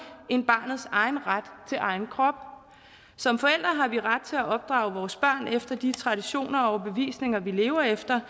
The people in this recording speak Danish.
end barnets egen ret til egen krop som forældre har vi ret til at opdrage vores børn efter de traditioner og overbevisninger vi lever efter